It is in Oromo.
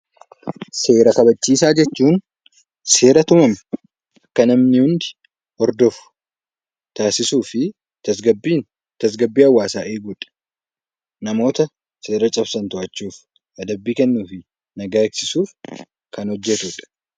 Seera kabachiisaa jechuun seera tumame kan namni hundi hordofu taasisuu fi tasgabbii hawaasaa eegudha. Namoota seera cabsan to'achuuf adabbii kennuu fi nagaa eegsisuuf kan hojjatudha